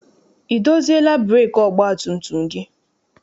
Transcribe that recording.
I doziela breekị ọgbatumtum gị?